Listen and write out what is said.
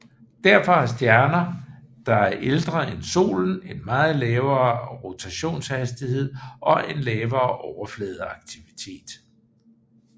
Derfor har stjerner der er ældre end Solen en meget lavere rotationshastighed og en lavere overfladeaktivitet